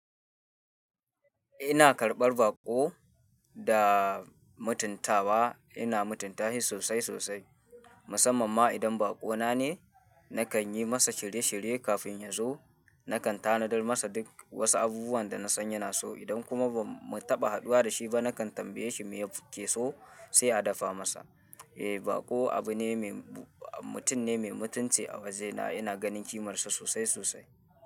Ina karɓar baƙo da mutuntawa. Ina mutunta shi sosai sosai, musamman ma idan baƙo na ne. Nakan yi masa shirye-shirye kafin ya zo. Nakan tanadar masa duk wasu abubuwan da na san yana so. Idan kuma ba mu taɓa haduwa da shi ba, nakan tambaye shi me ya fi so sai a dafa masa. Eh, baƙo abu ne mai, mutum ne mai mutunci a waje na. Ina ganin kimarsa sosai sosai.